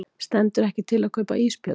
Stendur ekki til að kaupa ísbjörn